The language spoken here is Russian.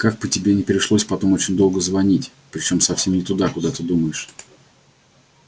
как бы тебе не пришлось потом очень долго звонить причём совсем не туда куда ты думаешь